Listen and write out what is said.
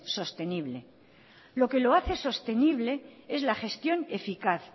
sostenible lo que lo hace sostenible es la gestión eficaz